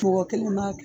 Tɔ kelen b'a kɛ